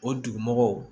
O dugu mɔgɔw